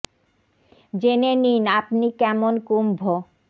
J নে নি ন আ প নি কে ম ন কু ম্ভ